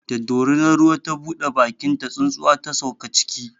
Da dorinar ruwa ta buɗe bakinta, tsuntsuwa ta sauka ciki.